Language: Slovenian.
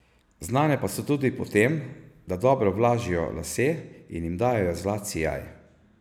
Znane pa so tudi po tem, da dobro vlažijo lase in jim dajejo zlat sijaj.